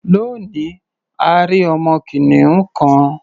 Lónìí, a rí ọmọ kìnìún kan.